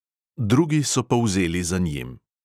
Drugi so povzeli za njim.